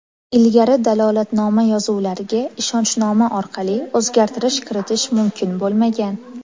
Ilgari dalolatnoma yozuvlariga ishonchnoma orqali o‘zgartirish kiritish mumkin bo‘lmagan.